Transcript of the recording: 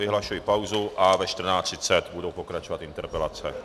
Vyhlašuji pauzu a ve 14.30 budou pokračovat interpelace.